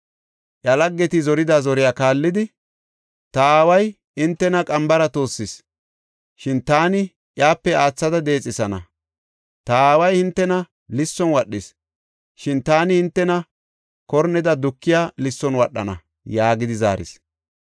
Iya laggeti zorida zoriya kaallidi, “Ta aaway hintena qambara toossis; shin taani iyape aathada deexethana. Ta aaway hintena lisson wadhis; shin taani hintena korneda dukiya lisson wadhana” yaagidi zaaris.